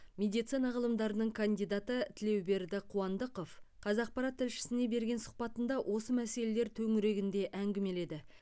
медицина ғылымдарының кандидаты тілеуберді қуандықов қазақпарат тілшісіне берген сұхбатында осы мәселелер төңірегінде әңгімеледі